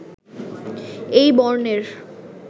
এই বর্ণের